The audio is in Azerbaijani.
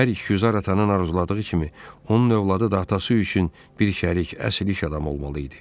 Hər işgüzar atanın arzuladığı kimi onun övladı da atası üçün bir şəriki, əsl iş adamı olmalı idi.